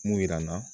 Mun jira n na